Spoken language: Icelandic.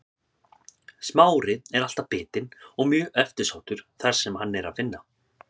Smári er alltaf bitinn og mjög eftirsóttur þar sem hann er að finna.